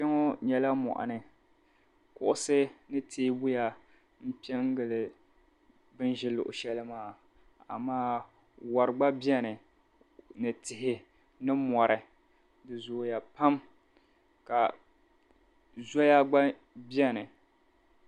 Kpɛŋɔ nyɛla mɔɣuni. Kuɣisi ni teebuya m-pe n-gili bɛ ni ʒi luɣishɛli maa amaa yuri gba beni ni tihi ni mɔri di zooya pam ka zoya gba beni.